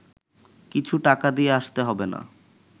কিছু টাকা দিয়ে আসতে হবে না